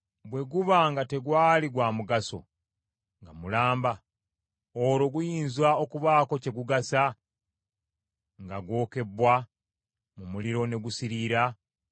Bwe guba nga tegwali gwa mugaso nga mulamba, olwo guyinza okubaako kye gugasa nga gwokebbwa mu muliro ne gusiriira?”